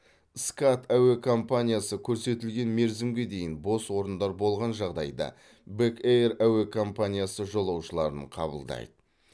скат әуе компаниясы көрсетілген мерзімге дейін бос орындар болған жағдайда бек эйр әуе компаниясы жолаушыларын қабылдайды